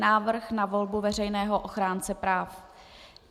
Návrh na volbu Veřejného ochránce práv